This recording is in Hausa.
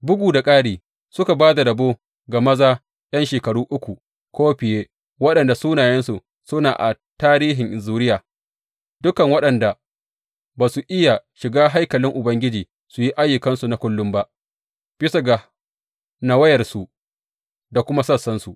Bugu da ƙari, suka ba da rabo ga maza ’yan shekaru uku ko fiye waɗanda sunayensu suna a tarihin zuriya, dukan waɗanda ba za su iya shiga haikalin Ubangiji su yi ayyukansu na kullum ba, bisa ga nawayarsu da kuma sassansu.